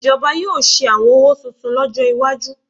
Ìjọba yóò ṣe àwọn owó tuntun lọ́jọ́ iwájú